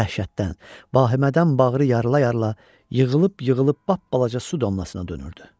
Dəhşətdən, vahimədən bağrı yarıla-yarıla yığılıb-yığılıb bapbalaca su damlasına dönürdü.